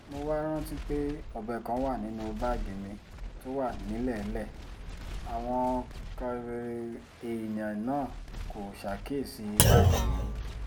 mo wáá rántí pé ọbẹ̀ kan wà nínú báàgì mi tó wà nílẹ̀ẹ́lẹ̀ àwọn èèyàn náà kò ṣàkíyèsí báàgì yìí